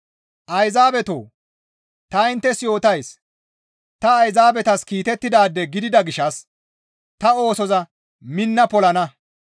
Ayzaabetoo! Ta inttes yootays; ta Ayzaabetas kiitettidaade gidida gishshas ta oosoza minna polana.